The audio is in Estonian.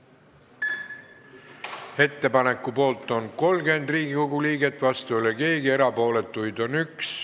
Hääletustulemused Ettepaneku poolt on 30 Riigikogu liiget, vastu ei ole keegi, erapooletuid on 1.